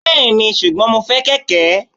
Bẹ́ẹ̀ni, ṣùgbọ́n mo fẹ́ kẹ̀kẹ́.